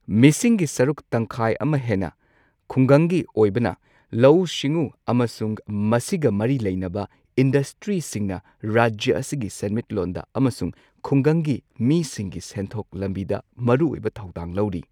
ꯃꯤꯁꯤꯡꯒꯤ ꯁꯔꯨꯛ ꯇꯪꯈꯥꯏ ꯑꯃ ꯍꯦꯟꯅ ꯈꯨꯡꯒꯪꯒꯤ ꯑꯣꯏꯕꯅ ꯂꯧꯎ ꯁꯤꯡꯎ ꯑꯃꯁꯨꯡ ꯃꯁꯤꯒ ꯃꯔꯤ ꯂꯩꯅꯕ ꯏꯟꯗꯁꯇ꯭ꯔꯤꯁꯤꯡꯅ ꯔꯥꯖ꯭ꯌ ꯑꯁꯤꯒꯤ ꯁꯦꯟꯃꯤꯠꯂꯣꯟꯗ ꯑꯃꯁꯨꯡ ꯈꯨꯡꯒꯪꯒꯤ ꯃꯤꯁꯤꯡꯒꯤ ꯁꯦꯟꯊꯣꯛ ꯂꯝꯕꯤꯗ ꯃꯔꯨꯑꯣꯏꯕ ꯊꯧꯗꯥꯡ ꯂꯧꯔꯤ꯫